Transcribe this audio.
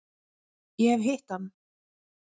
Ég hef hitt hann.